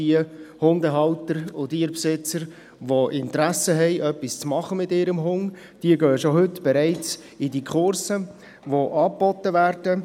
Die Hundehalter und Tierbesitzer, die Interesse haben, etwas mit ihrem Hund zu tun, gehen bereits heute in diese Kurse, die angeboten werden.